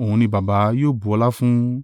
òun ni Baba yóò bu ọlá fún.